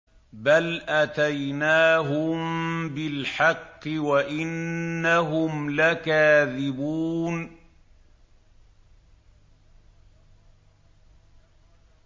بَلْ أَتَيْنَاهُم بِالْحَقِّ وَإِنَّهُمْ لَكَاذِبُونَ